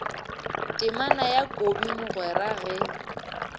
temana ya kobi mogwera ge